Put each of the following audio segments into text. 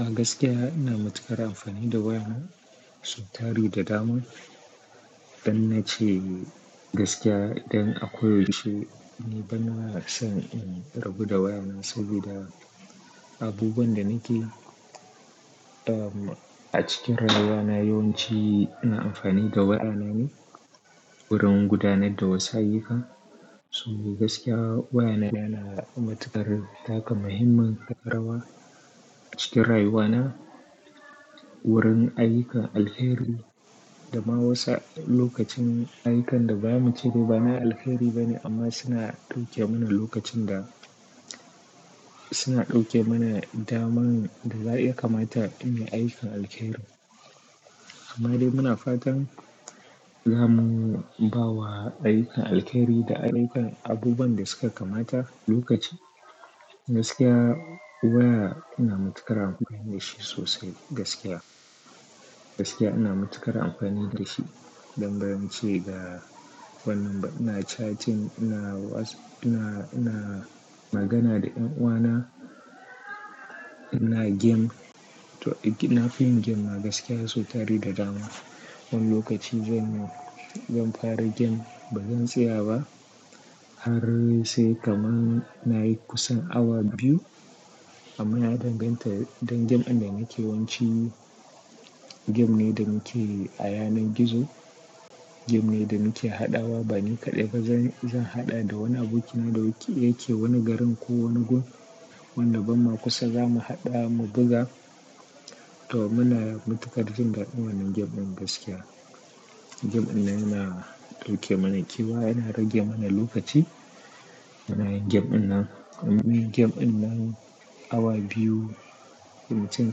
A gaskiya ina matuƙar amfani da waya na, sau tari da dama. Don na ce gaskiya, don ako yaushe ni ban ma son in rabu da waya na saboda abubuwan da nake, ah, a cikin rayuwa na yawanci ina amfani da waya na ne domin gudanar da wasu. Saboda gaskiya waya na yana matuƙar taka muhimmin rawa cikin rayuwa na wurin ayyukan alheri da kuma wasu lokacin ayyukan da ba mu ce dai ba na alheri ba ne amma suna ɗauke mana lokacin da, suna ɗauke mana daman da ya kamata in yi ayyukan alheri. Amma dai muna fatan zamu bawa ayyukan alheri da ayyukan abubuwan da suka kamata lokaci. Gaskiya waya ina matuƙar amfani da shi sosai gaskiya. Gaskiya ina matuƙar amfani da shi don bari mace da wannan ba. Ina chatting, ina WhatsApp, ina, ina magana da 'yan uwana, ina game. To, ina fin game ma gaskiya sautari da dama. Wani lokaci zan, zan fara game bazan tsaya ba har sai kaman nayi kusan awa biyu. Amma ya danganta don game din da muke yawanci game ne da muke a yanar gizo. Game ne da muke haɗawa ba ni kaɗai ba. Zan, zan haɗa da wani abokina da yake wani garin ko wani gun. Wanda ba ma kusa zamu haɗa mu buga. To muna matuƙar jin daɗin wannan game ɗin gaskiya. Game wannan yana ɗauke mana kewa, yana rage mana lokaci. Muna yin game ɗinnan Mun yi game ɗinnan awa biyu, mutum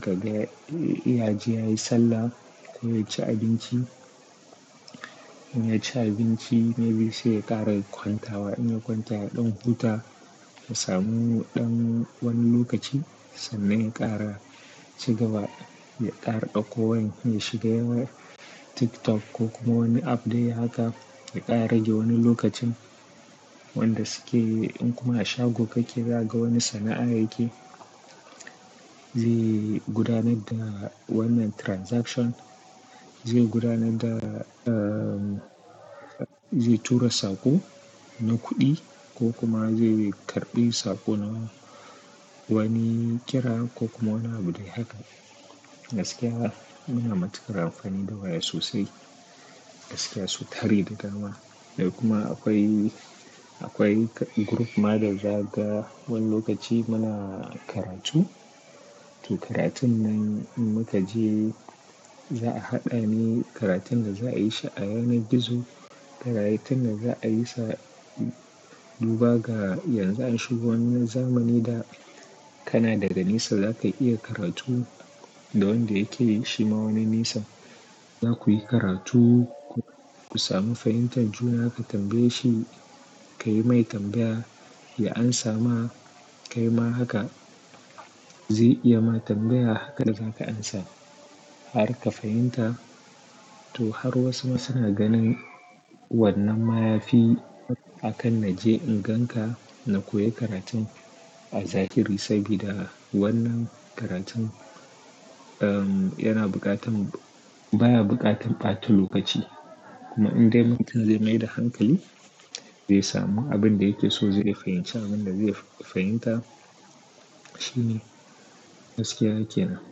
ka ga ya ji yayi sallah, ya ci abinci. In ya ci abinci maybe sai ya ƙara kwantawa. In ya kwanta ya ɗan huta ya samu ɗan wani lokaci sannan ya ƙara shiga ya ƙara ɗauko wani, ya shiga yayi TikTok ko kuma wani app dai haka ya ƙara rage wani lokacin. Wanda suke in kuma a shago kake za ga wani sana'a yake. Zai gudanar da wannan transaction, zai gudanar da, ah, zai tura saƙo na kuɗi ko kuma zai karɓi saƙo na wani kira ko kuma wani abu dai haka. Gaskiya muna matuƙar amfani da waya sosai. Gaskiya sotari da dama. Dai kuma akwai, akwai group ma da za ga wani lokaci muna karatu. To karatun nan in muka je za'a haɗa ne karatun da za'a yi shi a yanar gizo. Karatun da za'a yi sa duba ga yanzu an shiga wani zamani da kana daga nisa za ka iya karatu da wanda yake yi shi ma wani nisa. Za ku yi karatu ku sami fahimtar juna, ka tambaye shi ka yi mai tambaya. Ya ansa ma kai ma haka. Zai iya ma tambaya hakan hakanan zaka amsa har ka fahimta. To har wasu ma suna ganin wannan ma yafi akan na je in ganka na koya karatun a zahiri saboda wannan karatun, um, yana buƙatan, baya buƙatan ɓata lokaci. Kuma in dai mutum zai maida hankali zai samu abin da yake so. Zai fahimci abin da zai fahimta. Shine gaskiya ke nan.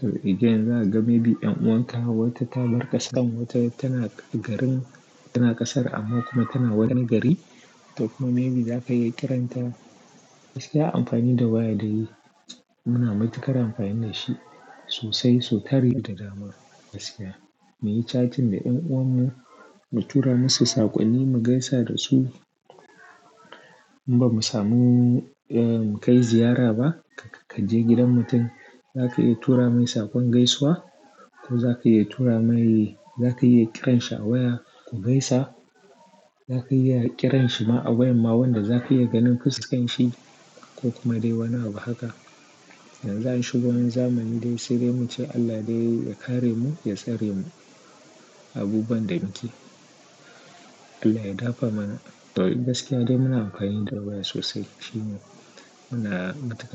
To, idan za ka ga maybe ɗan uwanka wata ta barƙasa wata tana garin tana ƙasar amma kuma tana wani gari. To kuma maybe za ka iya kiranta. Gaskiya amfani da waya dai muna matuƙar amfani da shi sosai sotari da dama gaskiya. Muyi chatting da en uwan mu, mu tura masu saƙonni, mu gaisa da su. In ba mu samu, eh, mu kai ziyara ba ka je gidan mutum za ka iya tura mai saƙon gaisuwa ko za ka iya tura mai, za ka iya kiransa a waya ku gaisa. Za ka iya kiransa ma a waya ma wanda za ka iya ganin fuskan shi ko kuma dai wani abu haka. Yanzu an shiga wani zamani dai sai dai muce Allah dai ya kare mu, ya tsare mu abubuwan da muke. Allah ya dafa mana. To gaskiya dai muna amfani da waya sosai. Shine muna matuƙar.